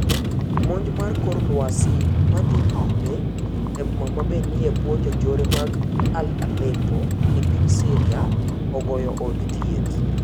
Monj mar kor lwasi madhii nyime eboma ma be nie ebwoo jonjore mag Allepo epiny Syria, ogoyo od thieth.